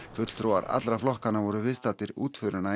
fulltrúar allra flokkanna voru viðstaddir útförina